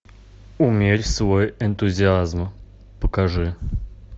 умерь свой энтузиазм покажи